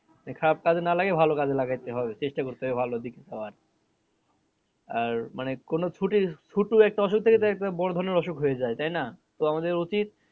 মানে খারাপ কাজে না লাগিয়ে ভালো কাজে লাগাইতে হবে চেষ্টা করতে হবে ভালো দিকে যাওয়ার আর মানে কোনো ছুটি ছোটো একটা অসুখ থেকে তার একটা বড়ো ধরণের অসুখ হয়ে যাই তাই না? তো আমাদের উচিত